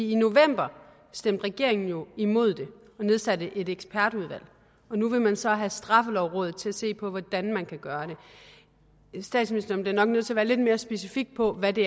i november stemte regeringen jo imod det og nedsatte et ekspertudvalg og nu vil man så have straffelovrådet til at se på hvordan man kan gøre det statsministeren bliver nok nødt til at være lidt mere specifik på hvad det